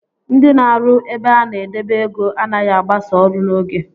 Ndị na arụ ebe a na-edebe ego anaghi agbasa ọrụ n'oge